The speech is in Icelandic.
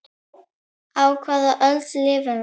Á hvaða öld lifum við?